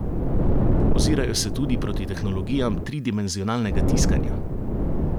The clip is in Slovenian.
Ozirajo se tudi proti tehnologijam tridimenzionalnega tiskanja.